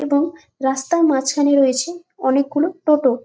এবং রাস্তার মাঝখানে রয়েছে অনেক গুলো টোটো ।